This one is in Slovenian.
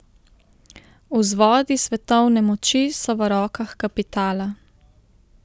Vzvodi svetovne moči so v rokah kapitala.